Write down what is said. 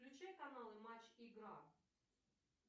включай каналы матч игра